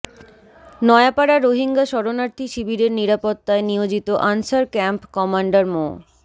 Nayapara Rohingya শরণার্থী শিবিরের নিরাপত্তায় নিয়োজিত আনসার ক্যাম্প কমান্ডার মো